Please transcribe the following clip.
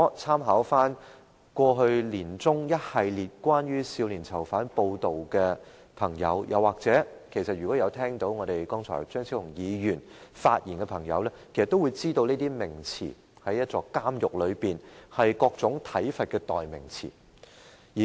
參考去年年中一系列有關少年囚犯的報道，又或張超雄議員剛才的發言，便會知道這些名詞在監獄是各種體罰的代名詞。